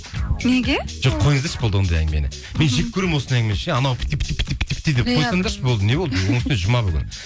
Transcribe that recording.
неге жоқ қойыңыздаршы болды ондай әңгімені мен жек көремін осындай әңгімені ше анау деп қойсаңдаршы не болды оның үстіне жұма бүгін